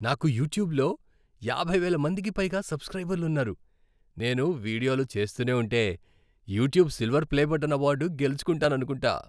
నాకు యూట్యూబ్లో యాభై వేల మందికి పైగా సబ్స్క్రైబర్లున్నారు. నేను వీడియోలు చేస్తూనే ఉంటే, "YouTube silver play button" award గెలుచుకుంటాననుకుంటా.